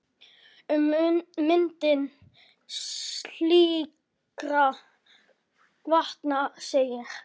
Um myndun slíkra vatna segir